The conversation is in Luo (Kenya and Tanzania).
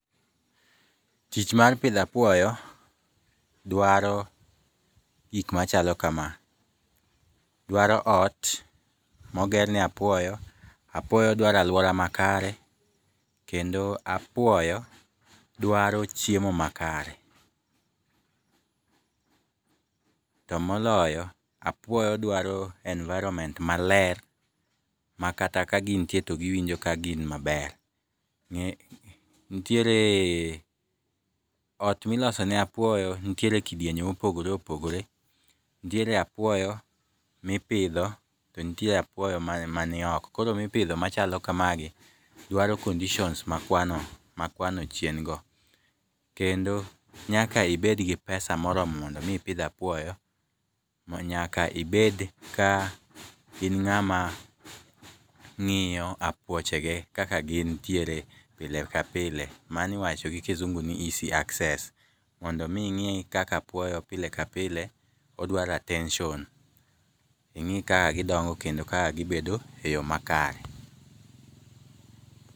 Tich mar pidhapuoyo dwaro gik machalo kama. Dwaro ot mogerne apuoyo, apuoyo dwaro alwora makare kendo apuoyo dwaro chiemo makare. To moloyo, apuoyo dwaro enviroment maler ma kato kagintie to giwinjo kagin maber. Ntiere ot miloso ne apuoyo nitiere e kidienje mopogore opogore. Nitiere apuoyo mipidho to nitiere apuoyo manioko. Koro mipidho machalo kamagi dwaro conditions makwano chien go. Kendo nyaka ibed gi pesa moromo mondo mi ipidh apuoyo. Ma nyaka ibed ka in ng'ama ng'iyo apuoche ge kaka gintiere pile ka pile, mano iwacho gi kizungu ni easy access. Mondo mi ing'i kaka apuoyo pile ka pile odwaro attention. Ing'i ka gidongo kendo ka gibedo e yo makare.